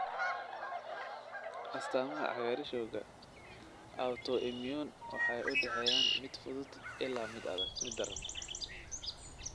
Astaamaha cagaarshowga autoimmune waxay u dhexeeyaan mid fudud ilaa mid daran.